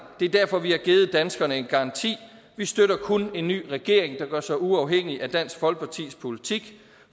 det er derfor at vi har givet danskerne en garanti vi støtter kun en ny regering der gør sig uafhængig af dansk folkepartis politik